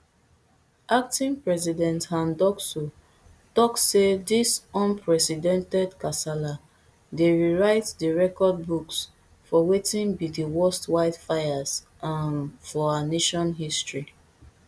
acting president han ducksoo tok say dis unprecedented kasala dey rewrite di record books for wetin be di worst wildfires um for our nation history